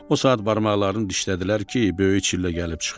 O saat barmaqlarını dişlədilər ki, böyük çillə gəlib çıxıb.